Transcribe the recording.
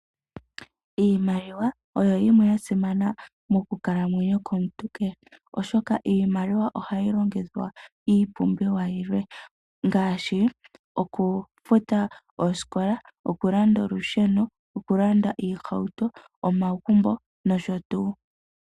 Iimaliwa oya simana mokukalamwenyo komuntu kehe, oshoka iimaliwa ohayi longithwa iipumbiwa yilwe ngaashi: okufuta oosikola, okulanda olusheno, okulanda iihauto, omagumbo nosho tuu.